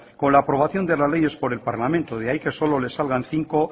con la aprobación de las leyes por el parlamento de ahí que solo le salgan cinco